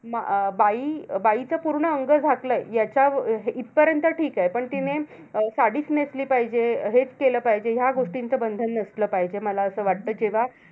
बा बाईचं पूर्ण अंग झाकलंय, याच्या अं इथपर्यंत ठीके. पण तिने अं साडीच नेसली पाहिजे, हेच केलं पाहिजे. ह्या गोष्टींचं बंधन नसलं पाहिजे. मला असं वाटतं. किंवा